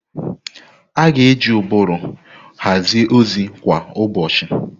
A ga-eji ụbụrụ hazie ozi kwa ụbọchị.